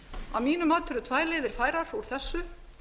að mínu mati eru tvær leiðir færar úr þessu